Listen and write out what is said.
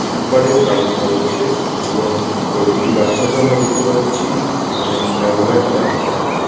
Sleeper -এর ব্যবস্থা রয়েছে | এবং কয়ই দুটি বাচ্চাকে আমরা দেখতে পাচ্ছি সেখানে খেলাধুলায় তারা ব্যস্ত।